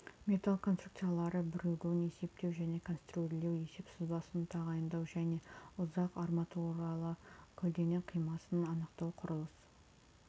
металл конструкциялары бірігуін есептеу және конструирлеу есеп сызбасын тағайындау және ұзақ арматуралы көлденең қимасын анықтау құрылыс